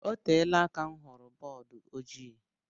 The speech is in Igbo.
Oteela aka m hụrụ bọọdu ojii